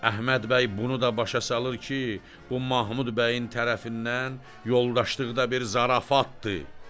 Əhməd bəy bunu da başa salır ki, bu Mahmud bəyin tərəfindən yoldaşlıqda bir zarafatdır.